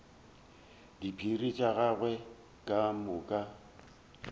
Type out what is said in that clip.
diphiri tša gagwe ka moka